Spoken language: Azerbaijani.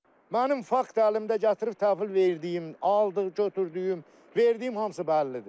Mənim fakt əlimdə gətirib təqdim verdiyim, aldıq götürdüyüm, verdiyim hamısı bəllidir.